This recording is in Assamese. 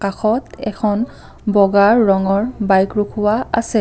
কাষত এখন বগা ৰঙৰ বাইক ৰোকোৱা আছে।